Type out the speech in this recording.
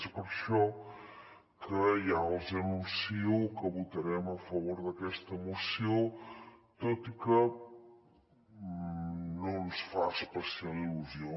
és per això que ja els anuncio que votarem a favor d’aquesta moció tot i que no ens fa especial il·lusió